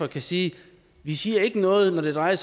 kan sige vi siger ikke noget når det drejer